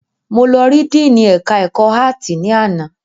Mo lọ ri Díìnì ẹ̀ka ẹ̀kọ́ áàtì ni àná